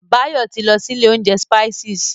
Báyọ̀ ti lọ sí ilé oúnjẹ Spices.